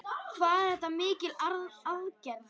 Hvað er þetta mikil aðgerð?